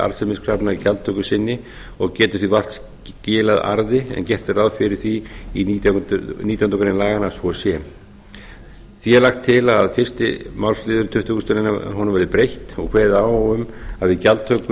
arðsemiskrafna í gjaldtöku sinni og getur því vart skilað arði en gert er ráð fyrir því í nítjánda grein laganna að svo sé því er lagt til að fyrsta máls tuttugustu greinar verði breytt og kveðið á um að við gjaldtöku